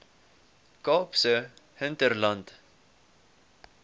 kaapse hinterland